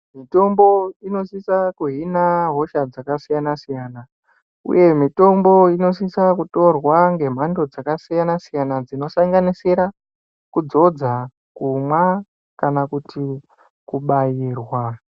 Mitombo inosisa kuhina hosha dzakasiyana-siyana uye mitombo inosisa kutorwa ngemhando dzakasiyana-siyana dzinosanganisira kudzodza, kumwa kana kuti kubairwa.